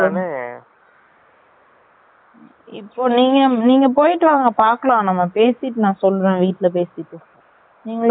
இப்போ நீங்க பொய்ட்டு வாங்க பாக்கலாம், நான் பேசிட்டு நான் சொல்ரென் வீட்ல பேசிட்டு. நீங்கலும் வீட்ல பேசனும் ல